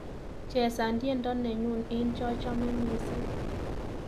Chesan tyendo nenyu eng chaachame mising